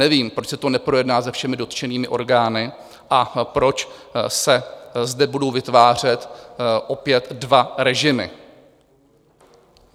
Nevím, proč se to neprojedná se všemi dotčenými orgány a proč se zde budou vytvářet opět dva režimy.